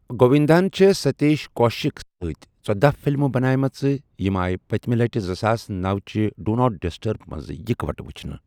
گووِنٛدا ہن چھےٚ سٔتیٖش کوشِکس سٕتہِ ژٔداہ فِلمہٕ بَناوِمَژٕ، تِم آیہِ پٔتمہِ لٹہِ زٕساس نۄَ چہِ 'ڈوٗ ناٹ ڈِسٹٔرب' منٛز اِکہٕ وٹہٕ وٕچھنہٕ۔